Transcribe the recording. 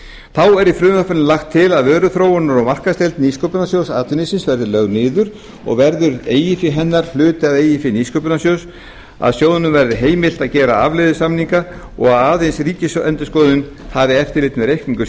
þá er í frumvarpinu lagt til að vöruþróunar og markaðsdeild nýsköpunarsjóðs atvinnulífsins verði lögð niður og verður eigið fé hennar hluti af eigin fé nýsköpunarsjóðs að sjóðnum verði heimilt að gera afleiðusamninga og að aðeins ríkisendurskoðun hafi eftirlit með reikningum